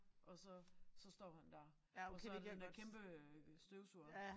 Og så så står han dér og så den der kæmpe øh støvsuger